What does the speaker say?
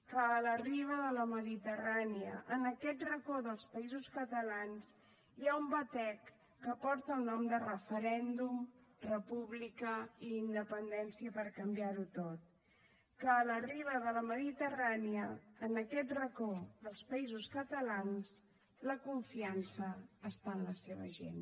que a la riba de la mediterrània en aquest racó dels països catalans hi ha un batec que porta el nom de referèndum república i independència per canviar ho tot que a la riba de la mediterrània en aquest racó dels països catalans la confiança està en la seva gent